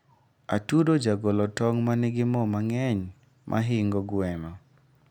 atudo jagolo tong manigi moo mangeny mahingo gweno